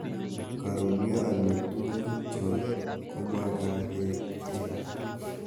Karuryo amitwogik cho komaket kei.